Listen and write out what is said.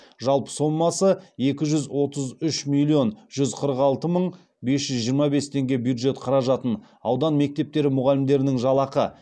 жалпы сомасы екі жүз отыз үш миллион жүз қырық алты мың бес жүз жиырма бес теңге бюджет қаражатын аудан мектептері мұғалімдерінің жалақы